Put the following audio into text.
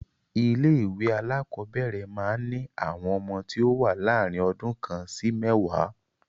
Ilé ìwé alákọ̀ọ́bẹ̀rẹ̀ máa ń ní àwọn ọmọ tí o wá láàrin ọdún kan sí mẹ́ẹ̀wá.